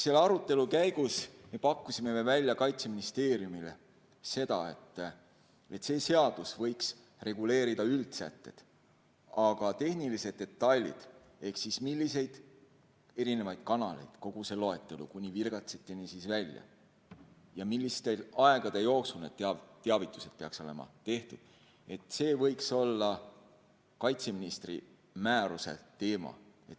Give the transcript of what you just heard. Selle arutelu käigus me pakkusime Kaitseministeeriumile välja, et see seadus võiks reguleerida üldsätteid, aga tehnilised detailid ehk siis milliseid analeid kasutada, kogu see loetelu kuni virgatsiteni välja, ja millise aja jooksul need teavitused peaks olema tehtud, see võiks olla kaitseministri määruse teema.